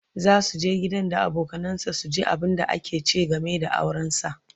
zasu je gidan da abokanansa su ji abunda aka ce game da auransa